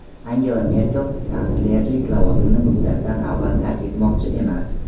Angela Merkel kanslerlik lavozimini muddatdan avval tark etmoqchi emas.